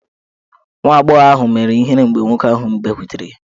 Nwa agbọghọ ahụ mewere ihere mgbe nwoke ahụ bịakwutere ya.